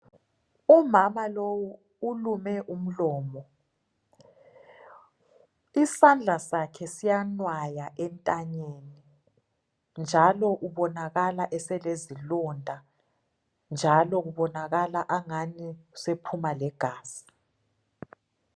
Umama lowu ubophe umlomo isandla sakhe siyanwaya entanyeni njalo ubonakala eselezilonda njalo kubonakala angani usephuma legazi